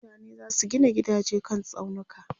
mutane zasu Gina gidaje kan tsaunuka